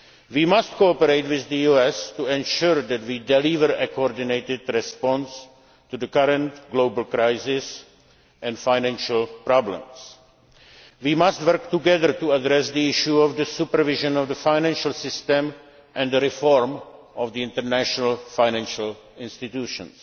We must cooperate with the US to ensure that we deliver a coordinated response to the current global crisis and financial problems. We must work together to address the issue of the supervision of the financial system and the reform of international financial